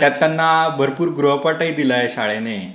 त्यात त्यांना भरपूर गृहपाठही दिलाय शाळेने.